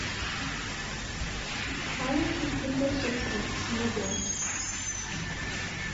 маленький киндер сюрприз для девочек